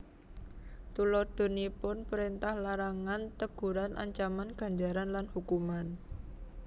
Tuladhanipun prèntah larangan teguran ancaman ganjaran lan hukuman